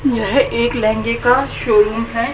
यह एक लहंगे का शोरूम है।